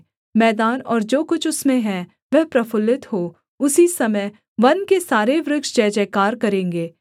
मैदान और जो कुछ उसमें है वह प्रफुल्लित हो उसी समय वन के सारे वृक्ष जयजयकार करेंगे